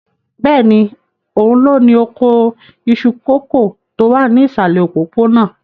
Bẹ́ẹ̀ni, òun ló ní oko iṣu kòkó tó wà ní ìsàlẹ̀ òpópónà.